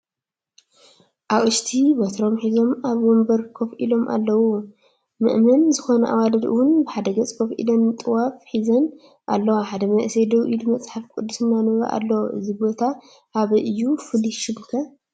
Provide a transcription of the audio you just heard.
ኣቅሽቲ በትሮም ሒዞም ኣብ ወንበሮም ኮፍ ኢሎም ኣለዉ ። መእመን ዝኮና ኣዋልድ እውን ብሓደ ገፅ ኮፍ ኢለን ጥዋፍ ሒዘን ኣለዋ ሓደ መንእሰይ ደው ኢሉ መፅሓፍ ቅዱስ እናንበበ ኣሎ። እዚ ቦታ ኣበይ እዩ ?ፍሉይ ሽሙ ከ?